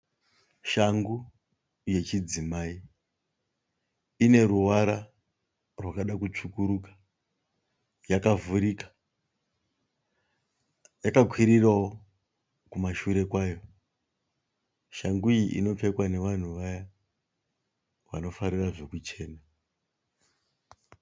Shangu yechidzimai, ineruvara rwakada kutsvukuruka. Yakavhurika. Yakakwirirowo kumashure kwayo. Shangu iyi inopfekwa nevanhu vaya vanofarira zvekuchena.